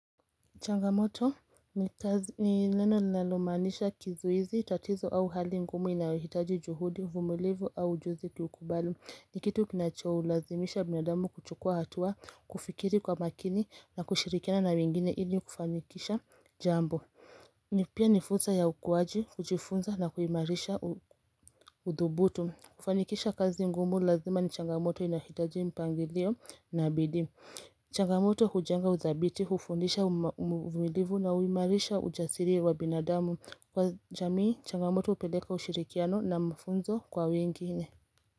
Changamoto ni kazi, ni neno linalomaanisha kizuizi, tatizo au hali ngumu inayohitaji juhudi, uvumilivu au ujuzi kukubali. Ni kitu kinacholazimisha binadamu kuchukua hatua, kufikiri kwa makini na kushirikina na wengine ili kufanikisha jambo ni pia ni fursa ya ukuwaji, kujifunza na kuimarisha udhubutu. Kufanikisha kazi ngumu lazima ni changamoto inahitaji mpangilio na bidii. Changamoto hujenga udhabiti, hufundisha uvumilivu na huimarisha ujasiri wa binadamu. Kwa jamii, changamoto hupeleka ushirikiano na mafunzo kwa wengine.